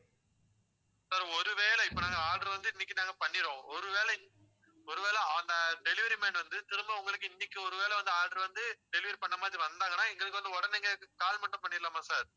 sir ஒருவேளை இப்ப நாங்க, order வந்து இன்னைக்கு நாங்க பண்ணிடுவோம் ஒருவேளை~ஒருவேளை அந்த delivery man வந்து திரும்ப உங்களுக்கு இன்னைக்கு ஒருவேளை வந்து order வந்து delivery பண்ண மாதிரி வந்தாங்கன்னா எங்களுக்கு வந்து உடனே call மட்டும் பண்ணிடலாமா sir